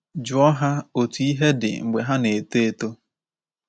Jụọ ha otú ihe dị mgbe ha na-eto eto.